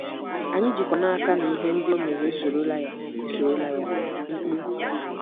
Anyị jikwa n’aka na ‘ihe ndị o mere esorola ya. esorola ya. ’—Mkpu.